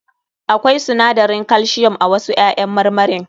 Akwai sinadarin calcium a wasu ƴaƴan marmarin.